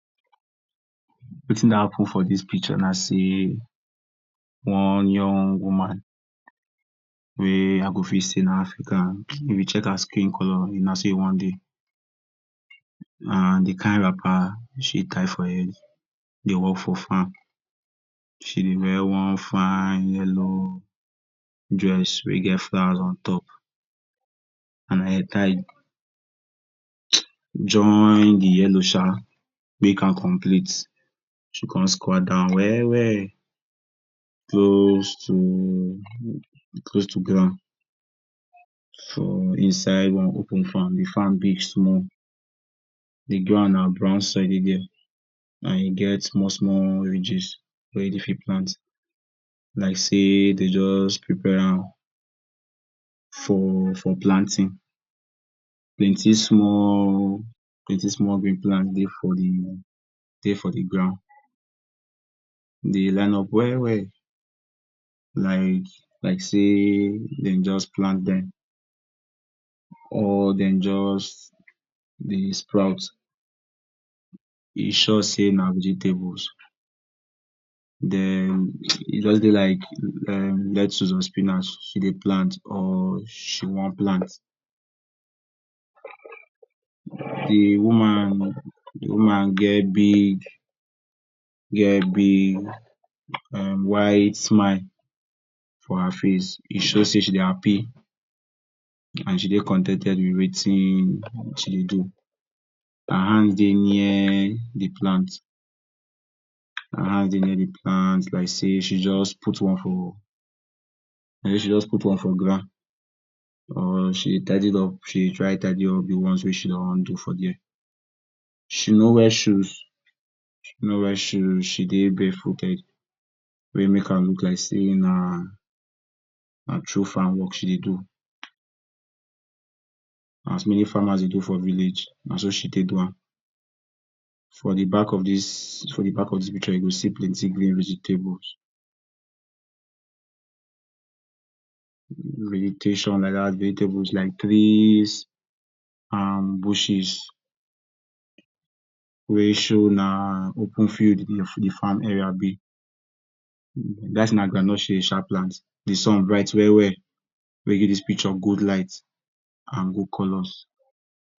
Wetin dey happen for dis picture na sey one young woman wey I go fit say na African. If you check her skin color na sey you wan dey and de kind wrapper wey she tie for head dey work for farm, She dey wear one fine yellow dress wey get flower on top and headtie join de yellow um make am complete. She con squat down well well close to, close to ground for inside one open farm de farm big small, de ground na brown sand dey dia. na e get small small ridges wey you go fit plant like sey dey just prepare am for for planting. Plenty small plenty small green plants dey for dey for de ground. Dey line up well well like like sey dey just plant dem or dem just dey sprout. E sure sey na vegetables den e just dey like[um] lettuce or spinach she dey plant or or she want plant. De woman de woman get big get big um white smile for her face, e show sey she dey happy and she dey con ten ted with wetin she dey do. Her hands dey near de plants her hands dey near de plants like sey she just put one for like sey she just put one for ground or she tidied up or she dey try tidy up wey she don do for dia. she no wear shoes she no wear shoes she dey barefooted wey e make am look like sey na na true farmwork she dey do as de way farmers dey do for village no so she take do am. For de back of dis for de back of dis picture you go see plenty green vegetables good vegetation like dat vegetables like trees and bushes wey show na open field de farm area be be like say na groundnut she um plant de sun bright well well wey give dis picture good light and good colors.